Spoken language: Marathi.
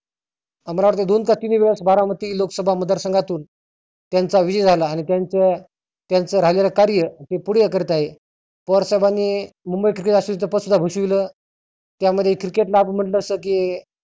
मला वाटतं दोन का तीन वेळेस बारामती लोकसभा मतदार संघातुन त्यांचा विजय झाला आणि त्यांचा त्यांच राजर कार्य ते पुढे करत आहे. पवार साहेबांनी मुंबई पद सुद्धा घोषविलं त्यामध्ये cricket ला मध्ये शके